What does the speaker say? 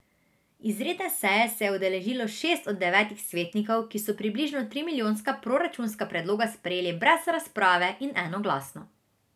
Izredne seje se je udeležilo šest od devetih svetnikov, ki so približno trimilijonska proračunska predloga sprejeli brez razprave in enoglasno.